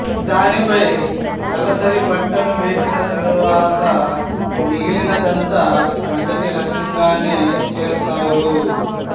దానిపై దలసరిబట్టను వేసి తరువాత మిగిలినదంతా మొదటి రకంగానే చేస్తారు